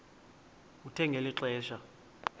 kuthe ngeli xesha